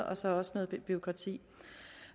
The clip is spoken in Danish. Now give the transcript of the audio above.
og så også noget bureaukrati